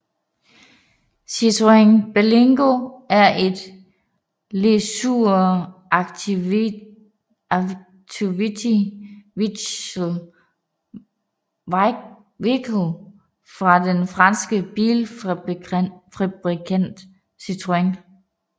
Citroën Berlingo er et Leisure activity vehicle fra den franske bilfabrikant Citroën